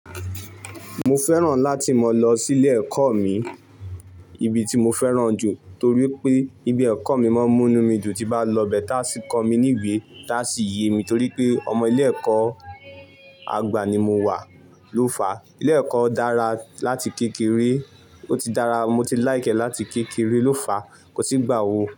Mo fẹ́ràn láti máa lọ sí ilé ẹ̀kọ́ mi, ibi tí mo fẹ́ràn jù torí pé ibi ẹ̀kọ́ mi máa ń mú mí dùn, tí bá lọ bẹ́ẹ̀ tá a sì kọ mí níwé tá a sì yé mi torí pé ọmọ ilé ẹ̀kọ́ àgbà ni mo wà. Ló fà, ilé ẹ̀kọ́ dára láti kékeré o ti dára, mo ti láìkẹ́ láti kékeré ló fà, kò sì gbà owó.